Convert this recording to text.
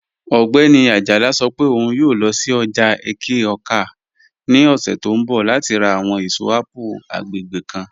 Ogbẹni Ajala sọ́ pẹ̀ ọ̀un yòò lọ́ sí ọ́jà Ẹ̀ké-Awka ni ọ̀ṣẹ̀ tó nbọ̀ láti rá àwọn èṣọ̀ apple agbẹ́gbẹ́ kan.